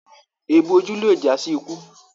Èébù ojú lé já sí ikú.